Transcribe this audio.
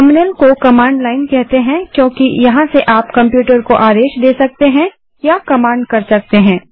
terminal को command line कहते हैं क्योंकि यहाँ से आप कंप्यूटर को आदेश दे सकते हैं या कमांड कर सकते हैं